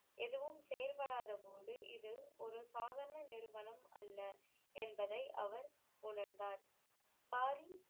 எதுவும் செயல்படாத போது இது ஒரு சாதாரண நிறுவனம் அல்ல என்பதை அவர் உணர்ந்தார்